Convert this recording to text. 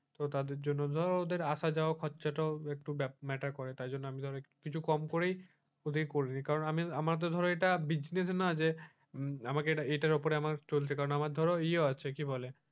তো তাদের জন্য ধরো তাদের আসা যাওয়া খরচা টাও matter করে তাই জন্য আমি ধরো কিছু কম করে করে দিই কারণ আমার তো ধরো এটা business নয় যে আমাকে এটার উপরে আমার চলছে আমার ধরো ইও আছে কি বলে?